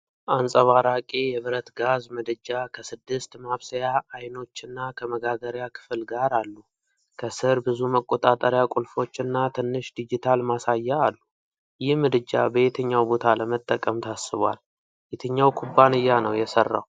አንጸባራቂ የብረት ጋዝ ምድጃ ከስድስት ማብሰያ አይኖችና ከመጋገሪያ ክፍል ጋር አሉ።። ከስር ብዙ መቆጣጠሪያ ቁልፎች እና ትንሽ ዲጂታል ማሳያ አሉ። ይህ ምድጃ በየትኛው ቦታ ለመጠቀም ታስቧል? የትኛው ኩባንያ ነው የሠራው?